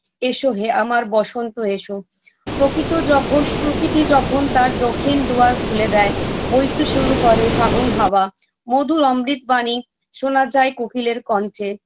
এসো হে আমার বসন্ত এসো প্রকৃত যখন প্রকৃতি যখন তার দক্ষিণ দুয়ার খুলে দেয় বইতে শুরু করে ফাগুন হাওয়া মধুর অমৃত বাণী শোনা যায় কোকিলের কণ্ঠে